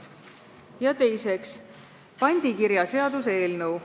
Ja teiseks, pandikirjaseaduse eelnõu.